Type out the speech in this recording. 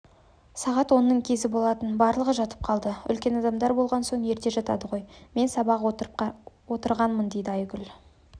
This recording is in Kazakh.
сағат онның кезі болатын барлығы жатып қалды үлкен адамдар болған соң ерте жатады ғой мен сабақ қарап отырғанмын дейдіайгүл